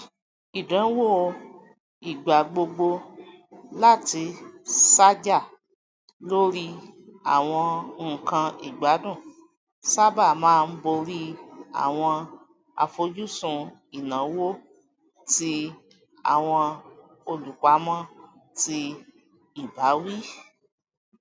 ìdánwò ìgbàgbogbo láti ṣàjà lórí àwọn nkan ìgbádùn sábà máa ń borí àwọn àfojúsùn ináwó ti àwọn olupamọ tí ìbáwí